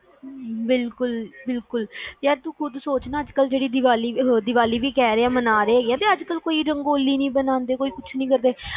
ਬਿਲਕੁਲ ਬਿਲਕੁਲ ਯਾਰ ਤੂ ਖੁਦ ਸੋਚ ਕੇ ਅੱਜ ਕਲ ਜੋ ਦੀਵਾਲੀ ਆ ਦੀਵਾਲੀ ਵੀ ਮਾਨ ਰੇ, ਕੋਈ ਰੰਗੋਲੀ ਨੀ ਬੰਨਦੇ ਕੋਇ ਕੁਛ ਨੀ ਕਰਦੇ